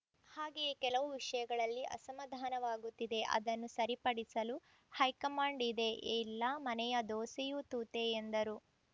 ಹಾಗೆಯೇ ಕೆಲವು ವಿಷಯಗಳಲ್ಲಿ ಅಸಮಾಧಾನವಾಗುತ್ತಿದೆ ಅದನ್ನು ಸರಿಪಡಿಸಲು ಹೈಕಮಾಂಡ್‌ ಇದೆ ಎಲ್ಲ ಮನೆಯ ದೋಸೆಯೂ ತೂತೇ ಎಂದರು